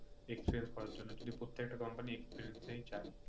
experience করার জন্য কিন্তু প্রত্যেকটা company experience ই চায়